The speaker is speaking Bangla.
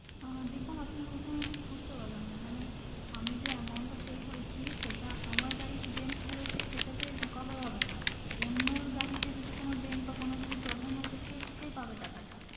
আহ দেখুন আপনার কথা আমি ঠিক বুঝতে পারলাম না মানে আমি যে amount টা pay করেছি সেটা আমার গাড়িতে যে dent পড়েছে সেটাতে cover হবে না অন্যের গাড়িতে যদি কোনো dent বা কোনো problem হয় থাকে সে পাবে টাকা টা।